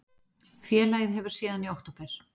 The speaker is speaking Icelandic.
Félagið hefur síðan í okt